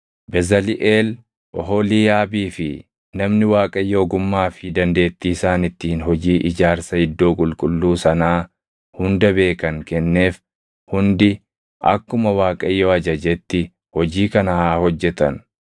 Bezaliʼeel, Oholiiyaabii fi namni Waaqayyo ogummaa fi dandeettii isaan ittiin hojii ijaarsa iddoo qulqulluu sanaa hunda beekan kenneef hundi akkuma Waaqayyo ajajetti hojii kana haa hojjetan.”